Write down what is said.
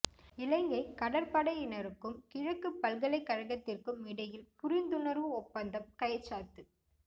இலங்கை கடற்படையினருக்கும் கிழக்குப் பல்கலைக் கழகத்திற்கும் இடையில் புரிந்துணர்வு ஒப்பந்தம் கைச்சாத்து